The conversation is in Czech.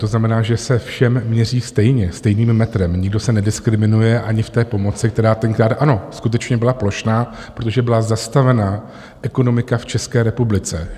To znamená, že se všem měří stejně stejným metrem, nikdo se nediskriminuje ani v té pomoci, která tenkrát, ano, skutečně byla plošná, protože byla zastavená ekonomika v České republice.